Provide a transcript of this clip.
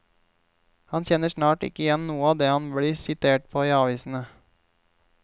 Han kjenner snart ikke igjen noe av det han blir sitert på i avisene.